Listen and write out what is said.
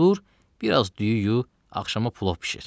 Dur, bir az düyü yu, axşama plov bişir.